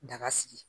Daga sigi